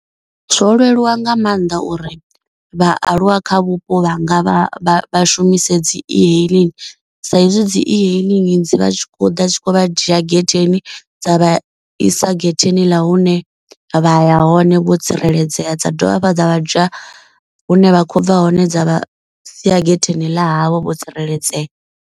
Zwo leluwa nga maanḓa uri vhaaluwa kha vhupo vhanga vha vha shumise dzi e hailing. Sa izwi dzi e hailing dzi vha tshi khou ḓa tshi khou vha dzhia getheni dza vha isa getheni ḽa hune vha ya hone vho tsireledzea. Dza dovha hafhu dza vha dza hune vha kho bva hone dza sia getheni ḽa havho vho tsireledzea.